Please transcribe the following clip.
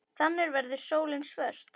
Þannig verður sólin svört.